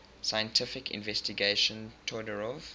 scientific investigation todorov